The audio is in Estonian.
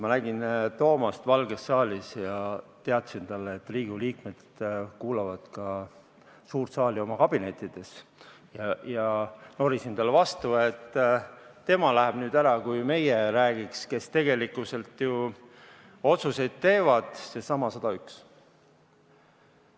Ma nägin Toomast Valges saalis ja teatasin talle, et Riigikogu liikmed kuulavad suures saalis toimuvat ka oma kabinettides, ja norisin vastu, et tema läheb nüüd ära, kui räägime meie, kes tegelikult ju otsuseid teevad, needsamad 101.